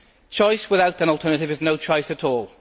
Choice without an alternative is no choice at all.